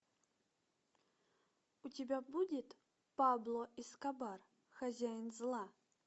у тебя будет пабло эскобар хозяин зла